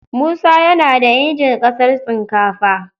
Musa yana da injin casar sinkafa.